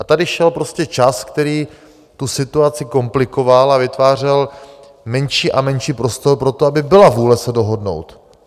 A tady šel prostě čas, který tu situaci komplikoval a vytvářel menší a menší prostor pro to, aby byla vůle se dohodnout.